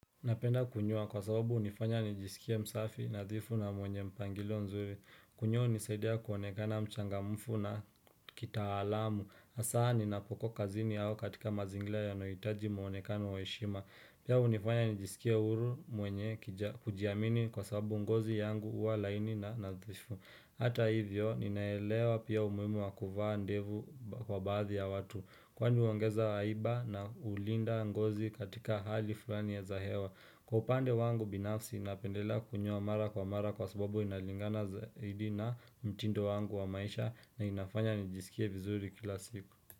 Napenda kunyoa kwa sababu hunifanya nijisikia msafi, nadhifu na mwenye mpangilo nzuri. Kunyoa hunisaidia kuonekana mchangamfu na kitaalamu. Hasa ninapok kazini au katika mazingira yanohitaji muonekano wa heshima. Pia hunifanya nijisikie huru mwenye kiji kujiamini kwa sababu ngozi yangu huwa laini na nadhifu. Hata hivyo, ninaelewa pia umuhimu wakuvaa ndevu kwa baadhi ya watu. Kwani huongeza aiba na hulinda ngozi katika hali fulani ya za hewa. Kupande wangu binafsi napendelea kunyoa mara kwa mara kwa sababu inalingana zaidi na mtindo wangu wa maisha na inafanya nijisikie vizuri kila siku.